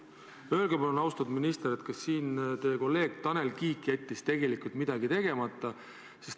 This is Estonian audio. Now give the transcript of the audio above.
Öelge palun, austatud minister, kas teie kolleeg Tanel Kiik jättis midagi tegemata?